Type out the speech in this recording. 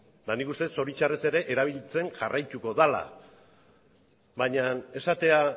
eta nik uste del zoritzarrez ere erabiltzen jarraituko dela baina esatea